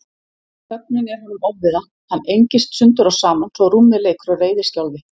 Þögnin er honum ofviða, hann engist sundur og saman svo rúmið leikur á reiðiskjálfi.